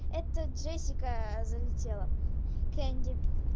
это джессика залетела кенди